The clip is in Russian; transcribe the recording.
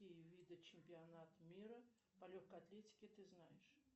какие виды чемпионат мира по легкой атлетике ты знаешь